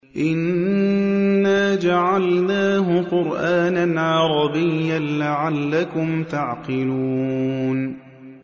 إِنَّا جَعَلْنَاهُ قُرْآنًا عَرَبِيًّا لَّعَلَّكُمْ تَعْقِلُونَ